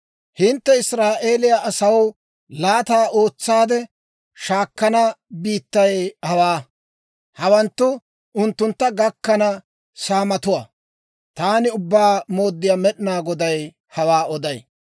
«Hintte Israa'eeliyaa asaw laata ootsaade shaakkana biittay hawaa; hawanttu unttuntta gakkana saamatuwaa. Taani Ubbaa Mooddiyaa Med'inaa Goday hawaa oday.